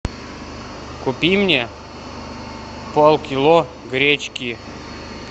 купи мне полкило гречки